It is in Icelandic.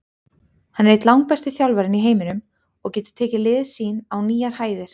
Hann er einn besti þjálfarinn í heiminum og getur tekið lið sín á nýjar hæðir.